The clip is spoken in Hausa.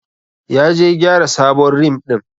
Ya je gyara sabon rim din.